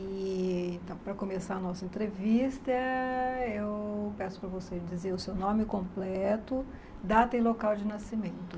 E então, para começar a nossa entrevista, eu peço para você dizer o seu nome completo, data e local de nascimento.